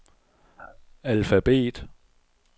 alfabet